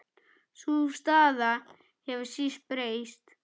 Sú staða hefur síst breyst.